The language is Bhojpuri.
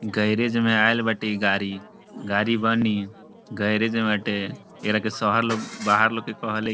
गेराज में आइल बाटे ई गाड़ी गाड़ी बनी गेराज में बाटे एकरा के शहर लोग बाहर लोग के कहलिक --